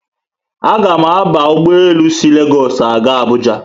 A ga mụ aba ụgbọelu si Legosu aga Abuuja